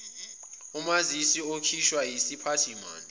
umazisi okhishwa yisiphathimandla